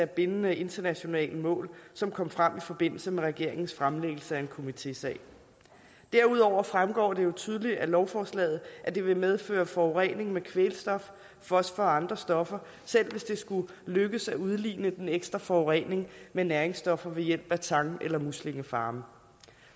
bindende internationale mål som kom frem i forbindelse med regeringens fremlæggelse af en komitésag derudover fremgår det jo tydeligt af lovforslaget at det vil medføre forurening med kvælstof fosfor og andre stoffer selv hvis det skulle lykkes at udligne den ekstra forurening med næringsstoffer ved hjælp af tang eller muslingefarme